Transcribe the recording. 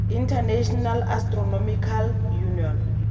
international astronomical union